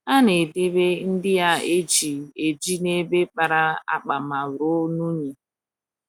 A na - edebe ndị a e ji eji n’ebe kpara akpa ma ruo unyi.